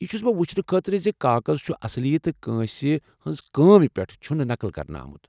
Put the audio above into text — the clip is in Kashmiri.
یہِ چُھ بہٕ وُچھنہٕ خٲطرٕ زِ کاغذ چُھ اصلی تہٕ کٲنٛسہ ہٕنٛز کام پیٹھہٕ چُھنہٕ نقٕل كرنہٕ آمُت ۔